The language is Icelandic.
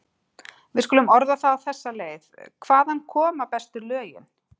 Við skulum orða það á þessa leið: hvaðan koma bestu lögin?